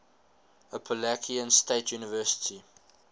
appalachian state university